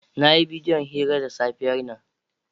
Na yi bidiyo hira da safiyar nan.